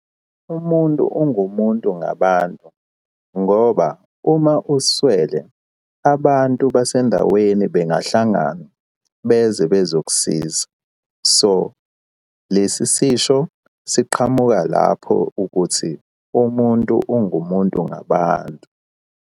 Umuntu ungumuntu ngabantu, ngoba uma uswele abantu basendaweni bengahlangana beze bezokusiza. So lesi sisho siqhamuka lapho ukuthi, umuntu ungumuntu ngabantu.